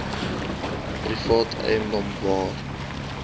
private eiendom waar